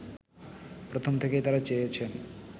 প্রথম থেকেই তারা চেয়েছেন